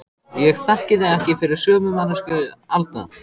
Ég þekki þig ekki fyrir sömu manneskju Alda.